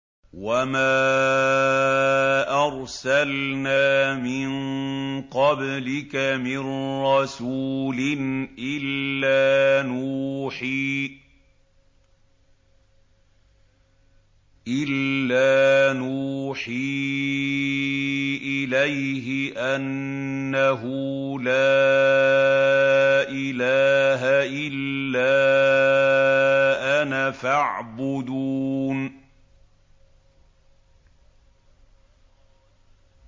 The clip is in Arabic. وَمَا أَرْسَلْنَا مِن قَبْلِكَ مِن رَّسُولٍ إِلَّا نُوحِي إِلَيْهِ أَنَّهُ لَا إِلَٰهَ إِلَّا أَنَا فَاعْبُدُونِ